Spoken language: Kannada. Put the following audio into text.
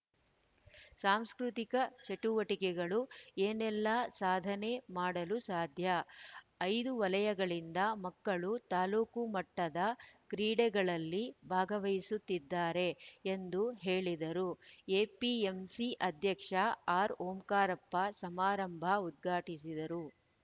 ಸಾಂಸ್ಕೃತಿಕ ಚಟುವಟಿಕೆಗಳು ಏನೆಲ್ಲಾ ಸಾಧನೆ ಮಾಡಲು ಸಾಧ್ಯ ಐದು ವಲಯಗಳಿಂದ ಮಕ್ಕಳು ತಾಲೂಕು ಮಟ್ಟದ ಕ್ರೀಡೆಗಳಲ್ಲಿ ಭಾಗವಹಿಸುತ್ತಿದ್ದಾರೆ ಎಂದು ಹೇಳಿದರು ಎಪಿಎಂಸಿ ಅಧ್ಯಕ್ಷ ಆರ್‌ಓಂಕಾರಪ್ಪ ಸಮಾರಂಭ ಉದ್ಘಾಟಿಸಿದರು